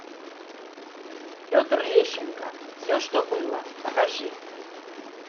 петр лещенко все что было покажи